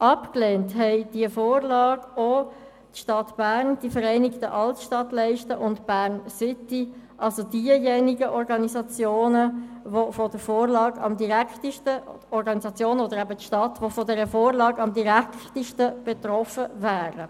Abgelehnt haben die Vorlage auch die Stadt Bern, die Vereinigten Altstadtleiste und Bern-City – also jene Organisationen, die von der Vorlage am direktesten betroffen wären.